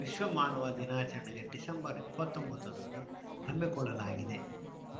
ವಿಶ್ವ ಮಾನವ ದಿನಾಚರಣೆ ಡಿಸೆಂಬರ್ ಇಪ್ಪತ್ತ್ ಒಂಬತ್ತ ರಂದು ಹಮ್ಮಿಕೊಳ್ಳಲಾಗಿದೆ